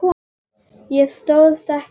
Ég stóðst ekki mátið.